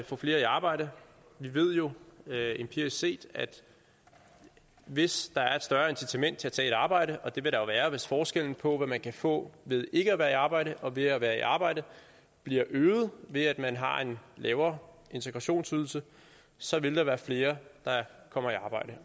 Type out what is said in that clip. få flere i arbejde vi ved jo empirisk set at hvis der er et større incitament til at tage et arbejde og det vil der jo være hvis forskellen på hvad man kan få ved ikke at være i arbejde og ved at være i arbejde bliver øget ved at man har en lavere integrationsydelse så vil der være flere der kommer i arbejde